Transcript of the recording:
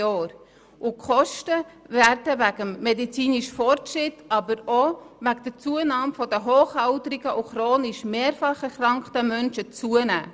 Die Kosten werden wegen des medizinischen Fortschritts, aber auch wegen der Zunahme der Anzahl hochbetagter und chronisch mehrfach erkrankter Menschen steigen.